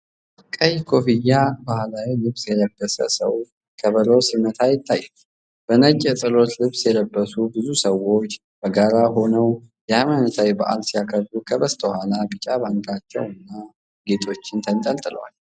ቀይ ኮፍያና ባህላዊ ልብስ የለበሰ ሰው ከበሮ ሲመታ ይታያል። በነጭ የጸሎት ልብስ የለበሱ ብዙ ሰዎች በጋራ ሆነው የሃይማኖታዊ በዓል ሲያከብሩ ከበስተኋላ ቢጫ ባንዲራዎችና ጌጦች ተንጠልጥለዋል።